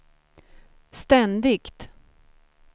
ständigt